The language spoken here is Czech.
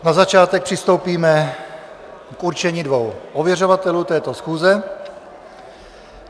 Na začátek přistoupíme k určení dvou ověřovatelů této schůze.